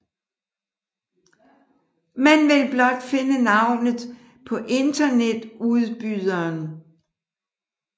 Man vil blot finde navnet på internetudbyderen